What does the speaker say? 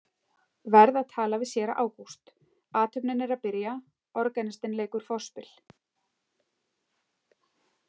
Verð að tala við séra Ágúst, athöfnin er að byrja, organistinn leikur forspil.